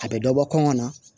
A bɛ dɔ bɔ kɔngɔ na